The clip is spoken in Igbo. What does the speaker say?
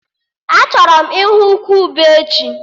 Achọrọ m ịhụ ukwu ube echi